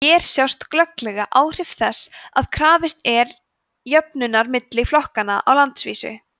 hér sjást glögglega áhrif þess að krafist er jöfnunar milli flokkanna á landsvísu